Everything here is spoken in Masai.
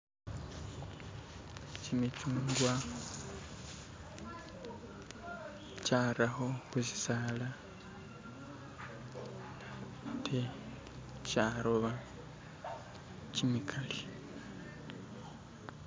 Kimichungwa kyarakho khu sisala ate, kyaroba kyimikali.